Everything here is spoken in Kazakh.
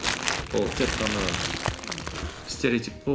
ол тек қана стереотип қой